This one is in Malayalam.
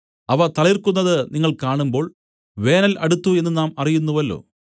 അവ തളിർക്കുന്നത് നിങ്ങൾ കാണുമ്പോൾ വേനൽ അടുത്തു എന്നു നാം അറിയുന്നുവല്ലോ